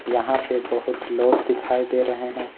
यहां पे बहुत लोग दिखाई दे रहे हैं।